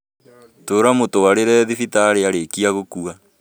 Tũra mũtũarire thibitarĩ arĩkĩa kũgũa